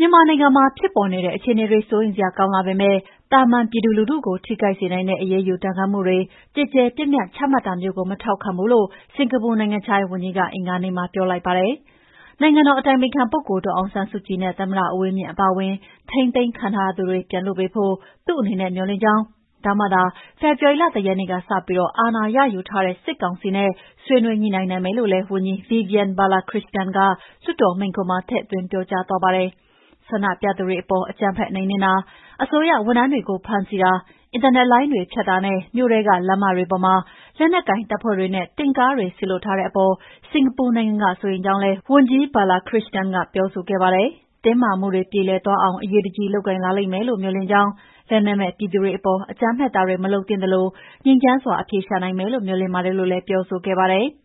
မြန်မာနိုင်ငံမှာ ဖြစ်ပေါ်နေတဲ့အခြေအနေတွေ စိုးရိမ်စရာကောင်းလာပေမဲ့ သာမန်ပြည်သူလူထုကို ထိခိုက်စေနိုင်တဲ့ အရေးယူဒဏ်ခတ်မှုတွေ ကျယ်ကျယ်ပြန့်ပြန့် ချမှတ်တာမျိုးကို မထောက်ခံဘူးလို့ စင်္ကာပူနိုင်ငံခြားရေးဝန်ကြီးက အင်္ဂါနေ့မှာပြောလိုက်ပါတယ်။ နိုင်ငံတော်အတိုင်ပင်ခံ ဒေါ်အောင်ဆန်းစုကြည်နဲ့ သမ္မတဦးဝင်းမြင့်အပါအဝင် ထိန်းသိမ်းခံထားရသူပြန်လွှတ်ပေးဖို့ သူ့အနေနဲ့မေ ျှာ်လင့်ကြောင်း ဒါမှသာ ဖေဖော်ဝါရီလ ၁ ရက်နေ့ကစပြီး အာဏာရယူထားတဲ့ စစ်ကောင်စီနဲ့ ဆွေးနွေးညှိနှိုင်းနိုင်မယ်လို့လည်း ဝန်ကြီး Vivian Balakrishnan က လွှတ်တော်မိန့်ခွန်းမှာ ထည့်သွင်းပြောကြားသွားပါတယ်။ ဆန္ဒပြသူတွေအပေါ် အကြမ်းဖက်နှိမ်နှင်းတာ၊ အစိုးရဝန်ထမ်းတွေကို ဖမ်းဆီးတာ၊ အင်တာနက်လိုင်းတွေဖြတ်တာနဲ့ မြို့ထဲက လမ်းမတွေပေါ်မှာ လက်နက်ကိုင်တပ်ဖွဲ့တွေနဲ့ တင့်ကားတွေ စေလွှတ်ထားတဲ့အပေါ် စင်္ကာပူနိုင်ငံက စိုးရိမ်ကြောင်းလည်း ဝန်ကြီး Balakrishnan ကပြောဆိုခဲ့ပါတယ်။ တင်းမာမှုတွေ ပြေလည်သွားအောင် အရေးတကြီးလုပ်ကိုင်လာမယ်လို့ မေ ျှာ်လင့်ကြောင်း လက်နက်မဲ့ပြည်သူတွေအပေါ် အကြမ်းဖက်တာတွေမလုပ်သင့်သလို ငြိမ်းချမ်းစွာ အဖြေရှာနိုင်မယ်လို့ မေ ျှာ်လင့်ပါတယ်လို့လည်း ပြောဆိုခဲ့ပါတယ်။